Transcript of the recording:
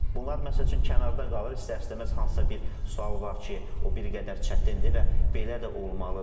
Bunlar məsəl üçün kənarda qalır, istər-istəməz hansısa bir sual var ki, o bir qədər çətindir və belə də olmalıdır.